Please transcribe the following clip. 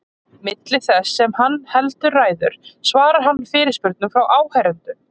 Milli þess sem hann heldur ræður svarar hann fyrirspurnum frá áheyrendum.